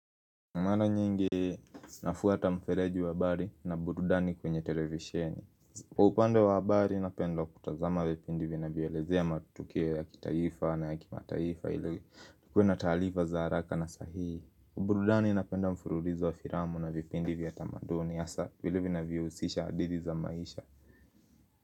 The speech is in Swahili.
Maana nyingi zinafuata mfereji wa habari na burudani kwenye televisheni Kwa upande wa habari napenda kutazama vipindi vina vyelezea matukio ya kitaifa na ya kimataifa ili tukue na taarifa za haraka na sahii. Burudani inapenda mfurulizo wa filamu na vipindi vya tamaduni asa vile vina vyousisha hadithi za maisha.